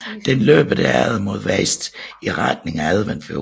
Den løber derefter mod vest i retning af Adventfjorden